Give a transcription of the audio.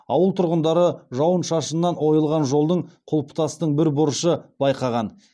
ауыл тұрғындары жауын шашыннан ойылған жолдың құлпытастың бір бұрышы байқаған